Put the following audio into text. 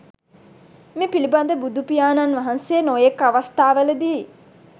මේ පිළිබඳ බුදුපියාණන් වහන්සේ නොයෙක් අවස්ථාවලදී